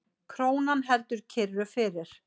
Krónan heldur kyrru fyrir